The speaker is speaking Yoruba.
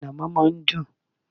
Ànàmọ́ má a n dùn